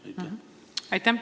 Aitäh!